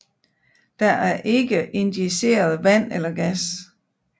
Der er ikke injiceret vand eller gas